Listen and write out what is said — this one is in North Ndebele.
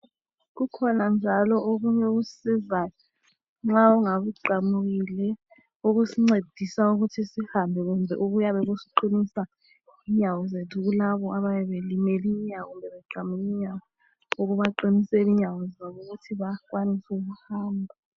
Kukhona njalo okunye okusisizayo nxa ungabe uqamukile okusincedisa ukuthi sihambe kuhle okuyabe kusiqinisa inyawo zethu kulabo abayabe belimele inyawo kumbe beqamuke inyawo ukubaqiniseni inyawo zabo ukuthi bakwanise ukuhamba.